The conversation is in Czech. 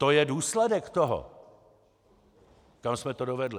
To je důsledek toho, kam jste to dovedli.